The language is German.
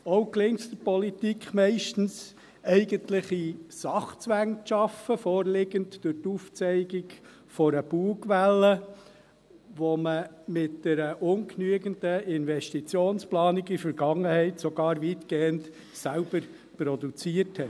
Auch gelingt es der Politik meistens, eigentliche Sachzwänge zu schaffen, vorliegend durch das Aufzeigen einer Bugwelle, die man mit einer ungenügenden Investitionsplanung in der Vergangenheit sogar weitgehend selbst produzierte.